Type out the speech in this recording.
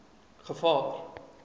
gevaar